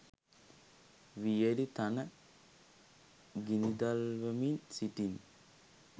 වියළි තණ ගිනිදල්වමින් සිටි